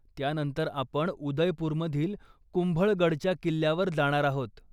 त्यानंतर आपण उदयपुरमधील कुंभळगडच्या किल्ल्यावर जाणार आहोत.